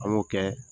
An b'o kɛ